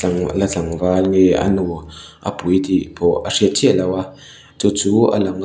la tlangval nge a nu a pui tih pawh a hriat chiahloh a chu chu a lang a.